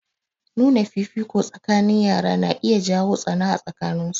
Nuna fifiko tsakanin yara na iya jawo tsana a tsakanin su.